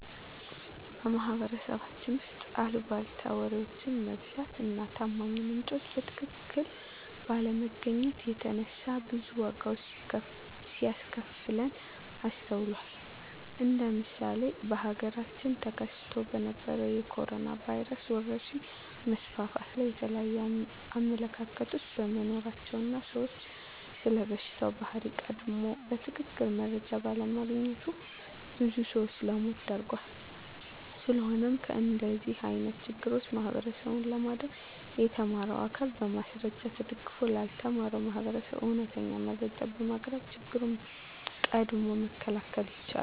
በማህበረሰባችን ውስጥ አልቧልታ ወሬዎች መብዛት እና ታማኝ ምንጮችን በትክክል ባለማግኘት የተነሳ ብዙ ዋጋዎች ሲያስከፍለን ይስተዋላል እንደ ምሳሌ በሀገራችን ተከስቶ በነበረዉ የኮሮኖ ቫይረስ ወረርሽኝ መስፋፋት ላይ የተለያዩ አመለካከቶች በመኖራቸው እና ሰዉ ስለበሽታው ባህሪ ቀድሞ በትክክል መረጃ ባለማግኘቱ ብዙ ሰዎችን ለሞት ዳርጓል። ስለሆነም ከእንደዚህ አይነት ችግሮች ህብረተሰቡን ለማዳን የተማረው አካል በማስረጃ ተደግፎ ላልተማረው ማህበረሰብ እውነተኛ መረጃዎችን በማቅረብ ችግሮችን ቀድሞ መከላከል ይቻላል።